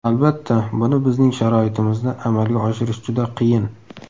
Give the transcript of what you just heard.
Albatta buni bizning sharoitimizda amalga oshirish juda qiyin.